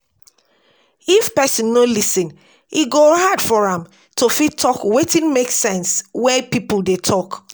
If person no lis ten e go hard for am to fit talk wetin make sense when pipo dey talk